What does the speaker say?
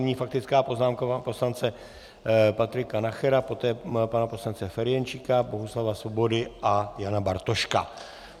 Nyní faktická poznámka pana poslance Patrika Nachera, poté pana poslance Ferjenčíka, Bohuslava Svobody a Jana Bartoška.